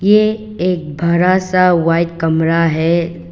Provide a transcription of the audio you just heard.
ये एक भरा सा व्हाइट कमरा है।